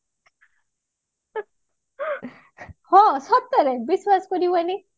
ହଁ ସତରେ ବିଶ୍ବାସ କରିବନି